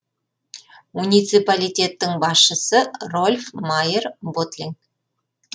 муниципалитеттің басшысы рольф майер ботлинг